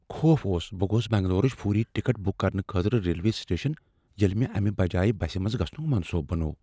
خوف اوس، بہٕ گوس بنگلورٕچ فوری ٹکٹ بک کرنہٕ خٲطرٕ ریلوے سٹیشن ییٚلہ مےٚ امہ بجایہ بسہِ منٛز گژھنک منصوبہٕ بنوو ۔